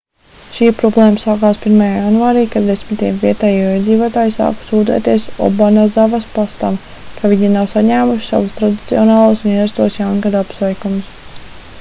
šī problēma sākās 1. janvārī kad desmitiem vietējo iedzīvotāju sāka sūdzēties obanazavas pastam ka viņi nav saņēmuši savus tradicionālos un ierastos jaungada apsveikumus